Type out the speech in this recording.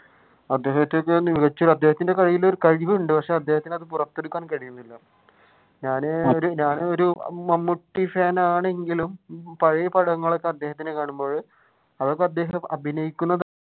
അദ്ദേഹത്തിന്റെ കയ്യിൽ ഒരു കഴിവ് ഉണ്ട് പക്ഷെ അദ്ദേഹത്തിന് അത് പുറത്തെടുക്കാൻ കഴിയുന്നില്ല. ഞാൻ ഒരു മമ്മൂട്ടി ഫാൻ ആണെങ്കിലും പഴയ പടങ്ങളിൽ അദ്ദേഹത്തിനെ കാണുമ്പോഴ് അത്യാവശ്യം അഭിനയിക്കുന്ന